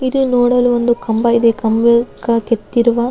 ಇದೆ ನೋಡಲು ಒಂದು ಕಂಬ ಇದೆ ಕಂಬಕ್ಕೆ ಕೆತ್ತಿರುವ --